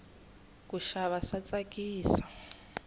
kuxava swa tsakisa